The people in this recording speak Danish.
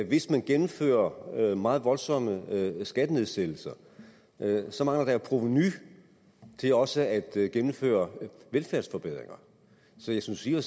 hvis man gennemfører meget voldsomme skattenedsættelser mangler der jo provenu til også at gennemføre velfærdsforbedringer så jeg synes i og